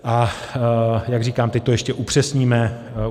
A jak říkám, teď to ještě upřesníme.